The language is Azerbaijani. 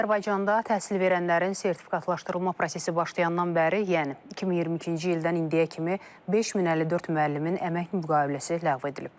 Azərbaycanda təhsil verənlərin sertifikatlaşdırılma prosesi başlayandan bəri, yəni 2022-ci ildən indiyə kimi 5054 müəllimin əmək müqaviləsi ləğv edilib.